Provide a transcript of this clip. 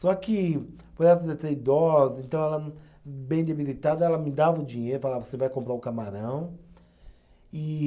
Só que, por ela ser ser idosa, então ela bem debilitada, ela me dava o dinheiro, falava, você vai comprar o camarão e.